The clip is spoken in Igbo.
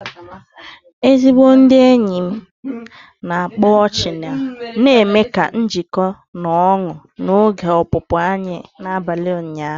Ezigbo ndị enyi m na-akpa ọchị na-eme ka njiko na ọñu n'oge ọpụpụ anyị n'abalị ụnyahụ.